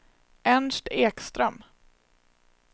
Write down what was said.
Ernst Ekström